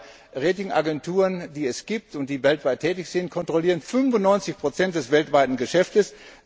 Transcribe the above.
Die drei Rating Agenturen, die es gibt und die weltweit tätig sind, kontrollieren 95 des weltweiten Geschäftes.